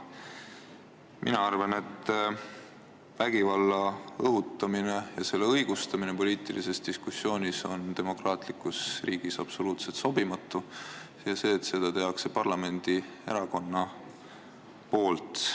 Mina arvan, et vägivalla õhutamine ja selle õigustamine poliitilises diskussioonis on demokraatlikus riigis absoluutselt sobimatu ja seda hullem, kui seda teeb parlamendierakond.